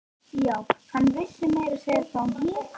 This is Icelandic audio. Já, hann vissi meira að segja hvað hún hét.